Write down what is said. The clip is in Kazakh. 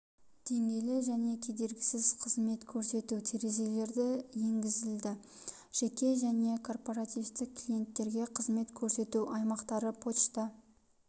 деңгейлі және кедергісіз қызмет көрсету терезелері енгізілді жеке және корпоративтік клиенттерге қызмет көрсету аймақтары пошта